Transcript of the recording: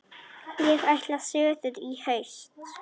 Ég ætla suður í haust.